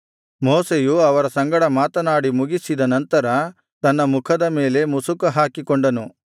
ಮೋಶೆಯು ಅವರ ಸಂಗಡ ಮಾತನಾಡಿ ಮುಗಿಸಿದ ನಂತರ ತನ್ನ ಮುಖದ ಮೇಲೆ ಮುಸುಕುಹಾಕಿಕೊಂಡನು